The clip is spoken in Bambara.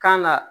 Kan ga